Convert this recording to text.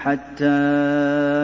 حَتَّىٰ